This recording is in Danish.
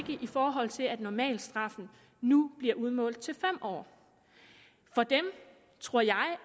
i forhold til at normalstraffen nu bliver udmålt til fem år for dem tror jeg